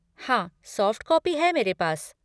हाँ, soft copy है मेरे पास।